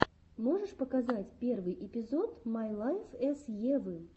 можешь показать первый эпизод май лайф эс евы